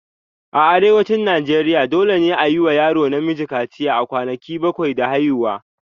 A Arewacin Najeriya, dole ne a yi wa yaro namiji kaciya a kwanaki bakwai da haihuwa.